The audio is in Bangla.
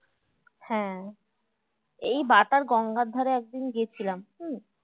হ্যাঁ এই বা তার গঙ্গার ধারে একদিন গিয়েছিলাম উম